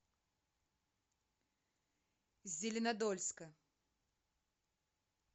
зеленодольска